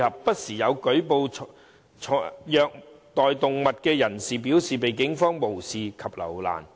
不時有舉報虐待動物的人士表示被警方無視及留難。